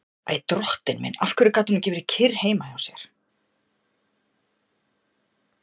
Æ, drottinn minn, af hverju gat hún ekki verið kyrr heima hjá sér?